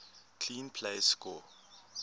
clean plays score